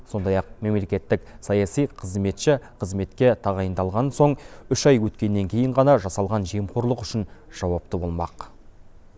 сондай ақ мемлекеттік саяси қызметші қызметке тағайындалған соң үш ай өткеннен кейін ғана жасалған жемқорлық үшін жауапты болмақ